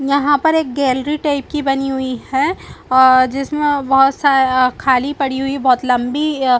यहाँ पर एक गैलरी टाइप की बनी हुई है आ जिसमें बहुत सा खाली पड़ी हुई है बहुत लम्बी --